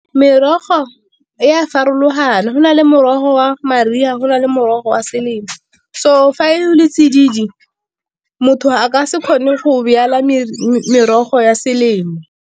Merogo e a farologana go na le morogo wa mariga go na le morogo wa selemo, so fa e le tsididi motho a ka se kgone go merogo ya selemo.